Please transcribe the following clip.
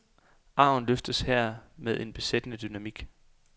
Arven løftes her med en besættende dynamik.